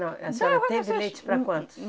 Não, e a senhora teve leite para quantos?... Hum...